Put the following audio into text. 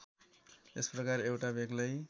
यस प्रकार एउटा बेग्लै